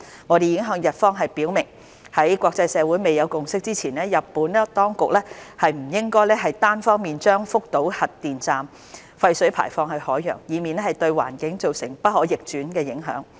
我們已向日方表明，在國際社會未有共識前，日本當局不應單方面將福島核電站廢水排放至海洋，以免對環境造成不可逆轉的影響。